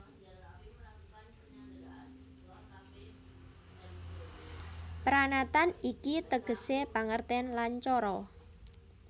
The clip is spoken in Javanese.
Pranatan iki tegesé pangertèn lan cara